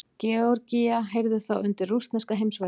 Georgía heyrði þá undir rússneska heimsveldið.